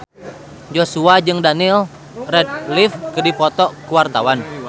Joshua jeung Daniel Radcliffe keur dipoto ku wartawan